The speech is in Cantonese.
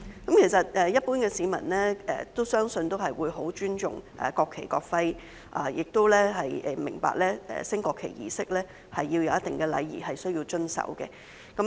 其實，相信一般市民都會很尊重國旗及國徽，也明白舉行升國旗儀式時需要遵守一定禮儀。